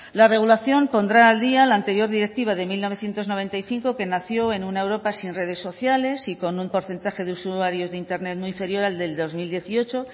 la regulación pondrá al día la anterior directiva de mil novecientos noventa y cinco que nació en una europa sin redes sociales y con un porcentaje de usuarios de internet muy inferior al del dos mil dieciocho